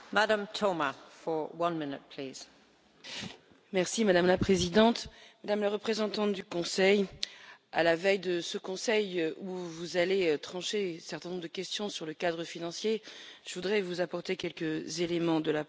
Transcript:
Madame la Présidente, Madame la représentante du Conseil, à la veille de ce Conseil où vous allez trancher un certain nombre de questions sur le cadre financier, je voudrais vous apporter quelques éléments de la part du Parlement en tant que rapporteure sur le cadre financier.